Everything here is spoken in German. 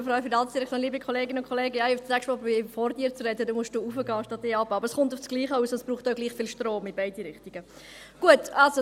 Ich werde nächstes Mal versuchen, vor Grossrat Köpfli zu sprechen, dann muss er das Pult höherstellen, aber es kommt auf dasselbe heraus und braucht in beide Richtungen gleich viel Strom.